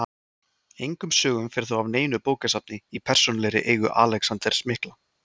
Engum sögum fer þó af neinu bókasafni í persónulegri eigu Alexanders mikla.